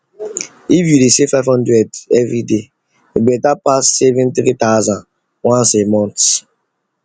if you dey save five hundred every day e better pass saving three thousand once a month